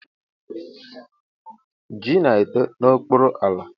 Ji na-eto n'okpuru ala.